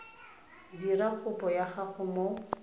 dira kopo ya gago o